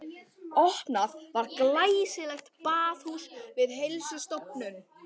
Opnað var glæsilegt baðhús við Heilsustofnun